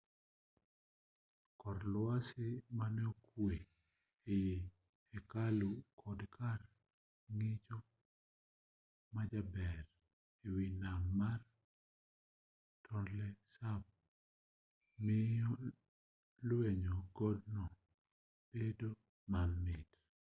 kor lwasi mane okwe ei hekalu kod kar ng'icho majaber ewi nam mar tonle sap miyo lwenyo godno bedo mamit